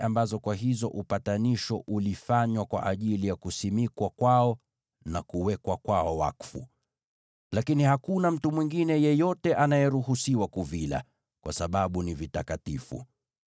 Watakula sadaka hizi ambazo upatanisho ulifanywa kwazo kwa ajili ya kuwaweka wakfu na kuwatakasa. Lakini hakuna mtu mwingine yeyote anayeruhusiwa kuvila, kwa sababu ni vitakatifu.